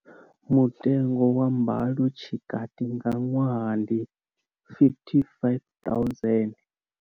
Mutengo wa mbalo tshikati nga ṅwaha ndi R55 000.